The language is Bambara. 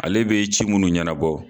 Ale bɛ ci munnu ɲɛnabɔ